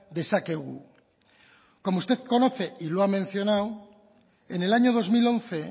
dezakegu como usted conoce y lo ha mencionado en el año dos mil once